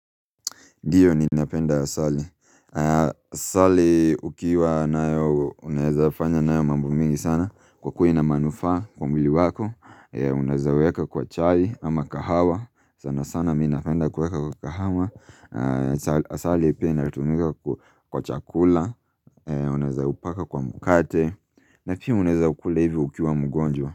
Ndiyo ninapenda asali. Asali ukiwa nayo, unaezafanya nayo mambo mingi sana kwa kuwa ina manufaa kwa mwili wako. Unaezaweka kwa chai ama kahawa. Sanasana mimi napenda kuweka kwa kahawa. Asali pia inatumika kwa chakula. Unaezaupaka kwa mkate. Na pia unaeza ukula hivyo ukiwa mgonjwa.